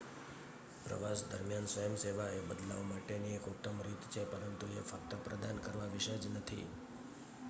પ્રવાસ દરમ્યાન સ્વયંસેવા એ બદલાવ માટેની એક ઉતમ રીત છે પરંતુ એ ફક્ત પ્રદાન કરવા વિશે જ નથી